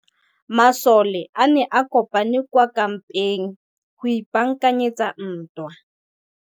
Masole a ne a kopane kwa kampeng go ipaakanyetsa ntwa.